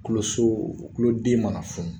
Tulo so tulo den mana funu